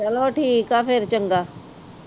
ਚਲੋ ਠੀਕ ਆ, ਫਿਰ ਚੰਗਾ